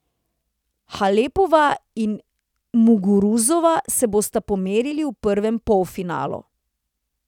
Halepova in Muguruza se bosta pomerili v prvem polfinalu.